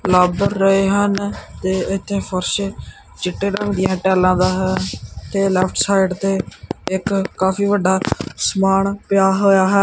ਲੱਗ ਰਹੇ ਹਨ ਤੇ ਇੱਥੇ ਫ਼ਰਸ਼ ਚਿੱਟੇ ਰੰਗ ਦੀਆਂ ਟਾਈਲਾਂ ਦਾ ਹੈ ਤੇ ਲੇਫਟ ਸਾਈਡ ਤੇ ਇੱਕ ਕਾਫੀ ਵੱਡਾ ਸਮਾਨ ਪਿਆ ਹੋਇਆ ਹੈ।